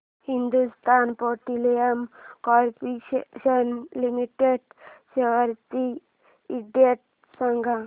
Hindustan petroleum corporation limited shares चा index सांगा